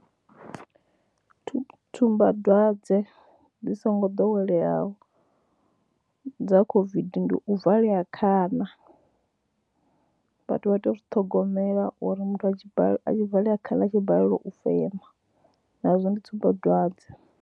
Tsumbadzwadze dzi songo doweleyaho dza COVID ndi u valea khana, vhathu vha tea u zwi ṱhogomela uri muthu a valea khana a tshi balelwa u fema nazwo ndi tsumbadzwadze.